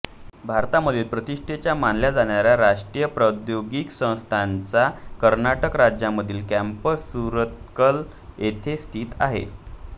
भारतामधील प्रतिष्ठेच्या मानल्या जाणाऱ्या राष्ट्रीय प्रौद्योगिकी संस्थानाचा कर्नाटक राज्यामधील कॅम्पस सुरतकल येथे स्थित आहे